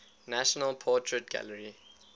national portrait gallery